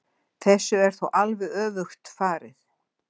Þessu er þó alveg öfugt farið.